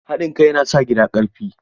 Haɗin kai yana sa gida ƙarfi.